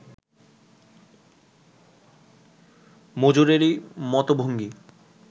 মজুরেরই মত ভঙ্গী